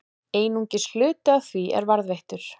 Einungis hluti af því er varðveittur.